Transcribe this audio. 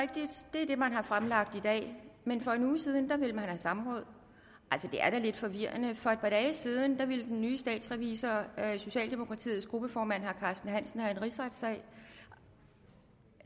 er det man har fremlagt i dag men for en uge siden ville man have samråd altså det er da lidt forvirrende for et par dage siden ville den nye statsrevisor socialdemokratiets gruppeformand herre carsten hansen have en rigsretssag